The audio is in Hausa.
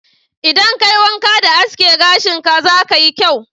Idan ka yi wanƙa da aske gashin ka, za ka yi kyau